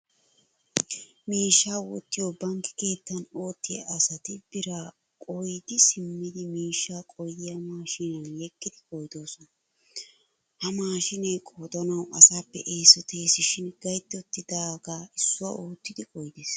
Miishshaa wottiyoo bankke keettan oottiyaa asati biraa qoydi simmidi miishshaa qoydiyaa maashiniyan yeggidi qoydissoosona. Ha maashiinee qoodanawu asaappe eesoteesishin gaytti uttidaaga issuwaa oottidi qoydees.